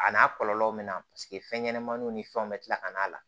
A n'a kɔlɔlɔw bɛ na paseke fɛn ɲɛnɛmaniw ni fɛnw bɛ tila ka n'a la